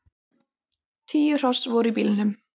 Tíu hross voru í bílnum.